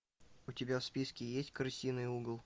у тебя в списке есть крысиный угол